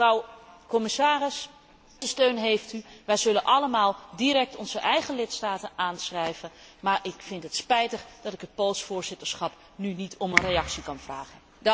Mevrouw commissaris, onze steun heeft u. Wij zullen allemaal direct onze eigen lidstaten aanschrijven, maar ik vind het spijtig dat ik het Pools Voorzitterschap nu niet om een reactie kan vragen.